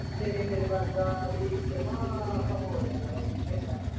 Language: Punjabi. ਤੇਰੇ ਮੇਰੇ ਵਰਗਾ ਵੀ ਜਮਾ ਉਹ ਹੋ ਜਾਂਦਾ ਗਾ serious